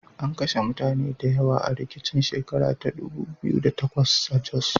An kashe mutane da yawa a rikicin shekar ta dubu biyu da takwas a Jos.